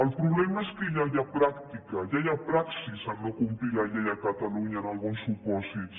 el problema és que ja hi ha pràctica ja hi ha praxi a no complir la llei a catalunya en alguns supòsits